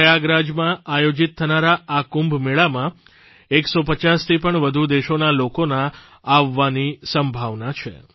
પ્રયાગરાજમાં આયોજિત થનારા આ કુંભ મેળામાં 150થી પણ વધુ દેશોના લોકોના આવવાની સંભાવના છે